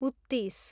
उत्तिस